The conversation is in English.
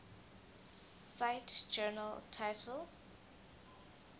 cite journal title